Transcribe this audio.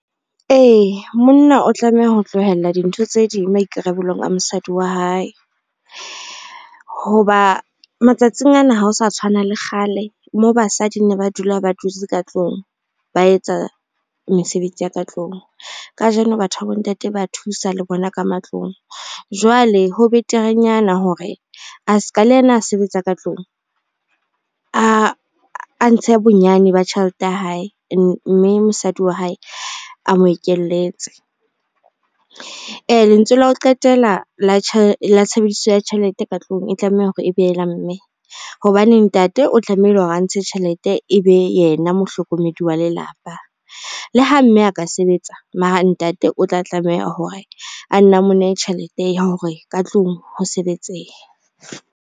Ee, monna o tlameha ho tlohella dintho tse ding maikarabelong a mosadi wa hae, hoba matsatsing ana ha o sa tshwana le kgale moo basadi ne ba dula ba dutse ka tlung ba etsa mesebetsi ya ka tlung. Kajeno batho ba bo ntate ba thusa le bona ka matlong. Jwale ho beterenyana hore a ska le yena, a sebetsa ka tlung a ntshe bonyane ba tjhelete ya hae, mme mosadi wa hae a mo ekeletse. Lentswe la ho qetela la tshebediso ya tjhelete ka tlung e tlameha hore e be la mme hobane ntate o tlamehile hore a ntshe tjhelete, e be yena mohlokomedi wa lelapa. Le ha mme a ka sebetsa, mara ntate o tla tlameha hore a nne a mo nehe tjhelete ya hore ka tlung ho sebetsehe.